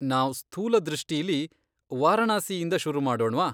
ನಾವ್ ಸ್ಥೂಲ ದೃಷ್ಟಿಲೀ ವಾರಣಾಸಿಯಿಂದ ಶುರುಮಾಡೋಣ್ವಾ?